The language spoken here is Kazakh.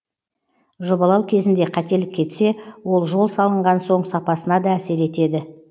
жобалау кезінде қателік кетсе ол жол салынған соң сапасына да әсер етеді